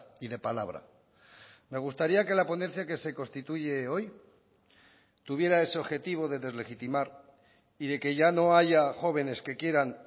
y de palabra me gustaría que la ponencia que se constituye hoy tuviera ese objetivo de deslegitimar y de que ya no haya jóvenes que quieran